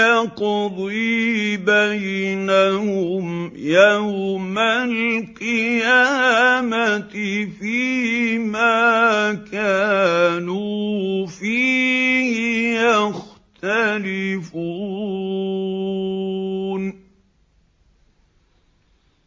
يَقْضِي بَيْنَهُمْ يَوْمَ الْقِيَامَةِ فِيمَا كَانُوا فِيهِ يَخْتَلِفُونَ